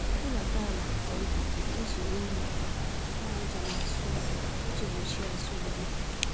Hulata ala nke ntà ma ijiri mma àkpàràjà n'asụ ọrụ, iji gbochie azụ-mgbu